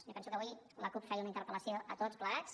jo penso que avui la cup feia una interpel·lació a tots plegats